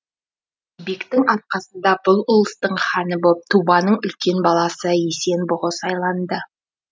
кебектің арқасында бұл ұлыстың ханы боп тубаның үлкен баласы есен бұғы сайланды